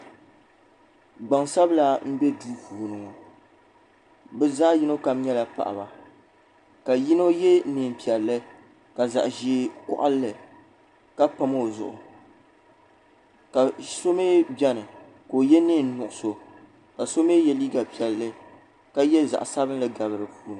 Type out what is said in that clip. Gbaŋ sabila mbɛ duu puuni ŋɔ bi zaɣi yino kam nyɛla paɣiba ka yino ye nɛɛn piɛlli ka zaɣi ʒee kɔɣili li ka pam o zuɣu ka so mɛ bɛni ka o ye nɛɛn nuɣiso ka so mɛ ye liiga piɛlli ka ye zaɣi sabinli gabi di puuni.